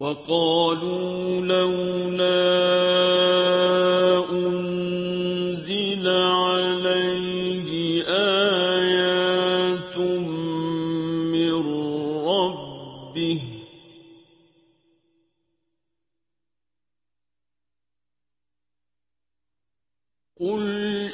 وَقَالُوا لَوْلَا أُنزِلَ عَلَيْهِ آيَاتٌ مِّن رَّبِّهِ ۖ قُلْ